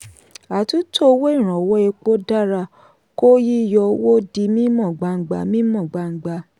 àtúntò owó ìrànwọ́ epo dára kó yíyọ owó di mímọ́ gbangba. mímọ́ gbangba.